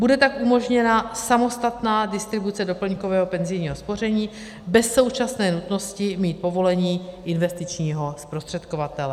Bude tak umožněna samostatná distribuce doplňkového penzijního spoření bez současné nutnosti mít povolení investičního zprostředkovatele.